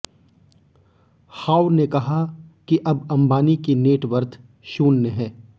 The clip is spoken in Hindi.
हॉव ने कहा कि अब अंबानी की नेटवर्थ शून्य है